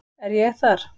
Er ég þar?